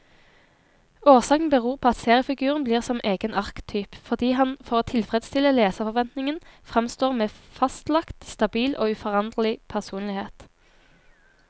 Årsaken beror på at seriefiguren blir som egen arketyp, fordi han for å tilfredstille leserforventningen framstår med fastlagt, stabil og uforanderlig personlighet.